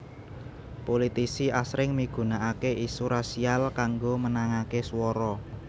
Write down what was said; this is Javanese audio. Pulitisi asring migunakaké isu rasial kanggo menangaké swara